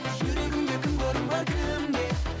жүрегімде кімге орын бар кімге